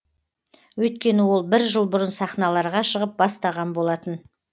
өйткені ол бір жыл бұрын сахналарға шығып бастаған болатын